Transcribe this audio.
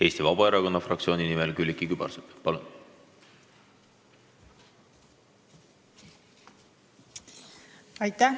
Eesti Vabaerakonna fraktsiooni nimel Külliki Kübarsepp, palun!